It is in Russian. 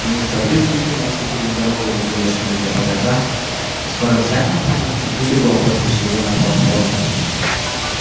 мистер уизли кинулся через дорогу за тележками для багажа и скоро вся компания чуть не бегом поспешила на платформу